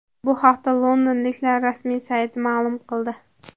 Bu haqda londonliklar rasmiy sayti ma’lum qildi .